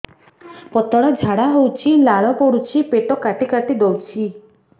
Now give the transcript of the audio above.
ପତଳା ଝାଡା ହଉଛି ଲାଳ ପଡୁଛି ପେଟ କାଟି କାଟି ଦଉଚି